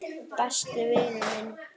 Besti vinur minn.